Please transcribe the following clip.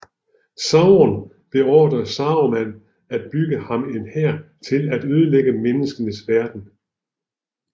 Sauron beordrede Saruman at bygge ham en hær til at ødelægge menneskenes verden